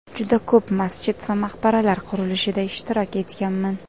Juda ko‘p masjid va maqbaralar qurilishida ishtirok etganman.